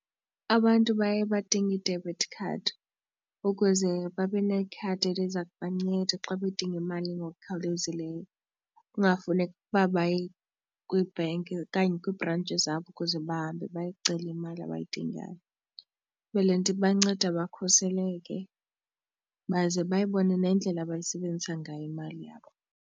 Abantu baye badinge i-debit card ukuze babe nekhadi eliza kubanceda xa bedinga imali ngokukhawulezileyo, kungafuneki uba baye kwi-bank okanye kwibhrentshi zabo ukuze bahambe baye kucela imali abayidingayo. Ke le nto ibanceda bakhuseleke baze bayibone nendlela abayisebenzisa ngayo imali yabo.